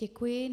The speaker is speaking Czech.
Děkuji.